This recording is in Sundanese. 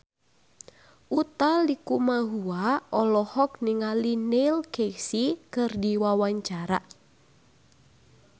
Utha Likumahua olohok ningali Neil Casey keur diwawancara